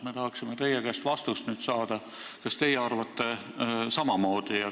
Me tahaksime nüüd teie käest saada vastust, kas teie arvate samamoodi.